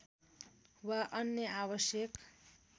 वा अन्य आवश्यक